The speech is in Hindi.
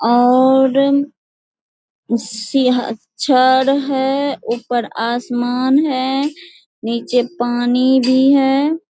और सी अ छड़ है ऊपर आसमान है नीचे पानी भी है।